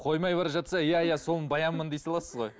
қоймай бара жатса иә иә солмын баянмын дей саласыз ғой